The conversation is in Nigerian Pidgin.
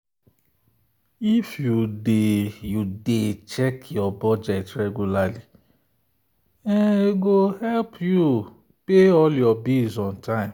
if you dey you dey check your budget regularly e go help you pay all your bills on time.